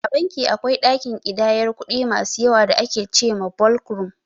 A banki akwai ɗakin ƙidayar kuɗi masu yawa da ake ce ma "Ɓolk Rum"